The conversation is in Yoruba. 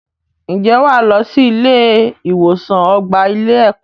Ǹjẹ́ wà á lọ sí ilé-ìwòsàn ọgbà ilé-ẹ̀kọ́.